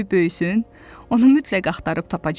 Hələ qoy böyüsün, onu mütləq axtarıb tapacam.